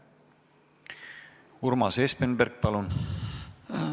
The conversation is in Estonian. Urmas Espenberg, palun!